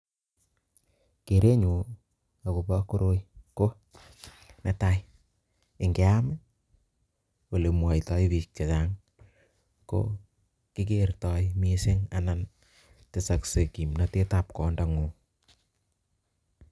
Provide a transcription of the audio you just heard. Kerenyun akobo koroi ko netai ingeyam olemwatae bik chekayam ko kiketae mising anan tesakse kimnatet ab kwondo ngung